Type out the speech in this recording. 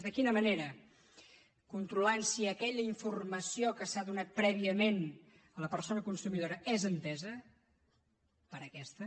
de quina manera controlant si aquella informació que s’ha donat prèviament a la persona consumidora és entesa per aquesta